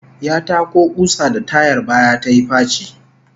Ya tako kusa da tayar baya tayi faci